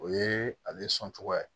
O ye ale sɔn cogoya ye